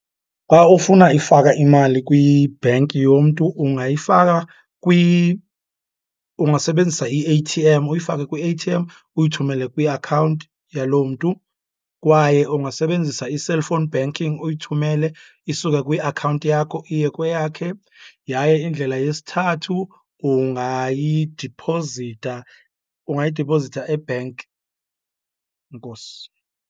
Xa ufuna ifaka imali kwi-bank yomntu, ungayifaka ungasebenzisa i-A_T_M, uyifake kwi-A_T_M uyithumele kwiakhawunti yaloo mntu. Kwaye ungasebenzisa i-cellphone banking uyithumele isuka kwiakhawunti yakho iye kweyakhe. Yaye indlela yesithathu ungayidiphozitha, ungayidiphozitha e-bank. Enkosi.